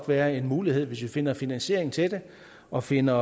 være en mulighed hvis vi finder finansiering til det og finder